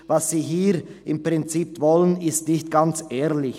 «Was Sie hier im Prinzip wollen, ist nicht ganz ehrlich.